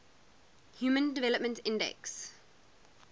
human development index